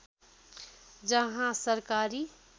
जहाँ सरकारी